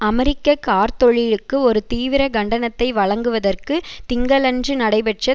அமெரிக்க கார்த் தொழிலுக்கு ஒரு தீவிர கண்டனத்தை வழங்குவதற்கு திங்களன்று நடைபெற்ற